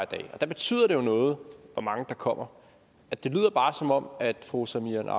dag og det betyder da noget hvor mange der kommer det lyder bare som om fru samira